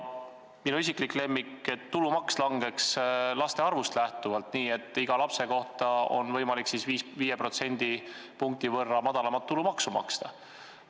Minu isiklik lemmik on see lubadus, et tulumaks langeks laste arvust lähtuvalt, nii et iga lapse pealt oleks võimalik tulumaksu 5% madalamaks arvestada.